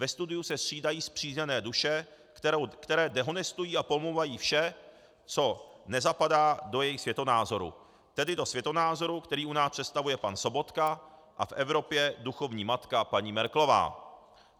Ve studiu se střídají spřízněné duše, které dehonestují a pomlouvají vše, co nezapadá do jejich světonázoru, tedy do světonázoru, který u nás představuje pan Sobotka a v Evropě duchovní matka paní Merkelová.